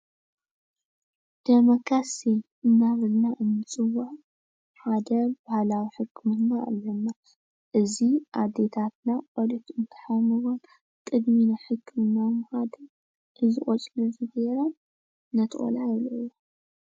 ደመካሴ እናበልና እንፅውዖ ሓደ ባህላዊ ሕክምና አለና:: እዚ ኣዴታትና ቆልዑት እንትሓሙወን ቅድሚ ናብ ሕክምና ምካድ እዚ ቆፅሊ እዙይ ገይረን ነቲ ቆልዓ የብልዕኦ።